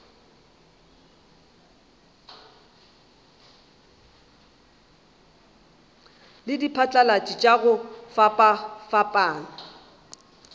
le diphatlalatši tša go fapafapana